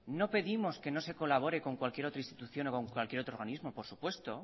no pedimos que no se colabora con cualquier otra institución o con cualquier otro organismo por supuesto